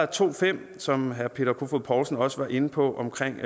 to fem som herre peter kofod poulsen også var inde på omkring